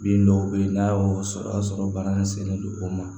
Bin dɔw bɛ ye n'a y'o sɔrɔ o y'a sɔrɔ bana in sennen don o ma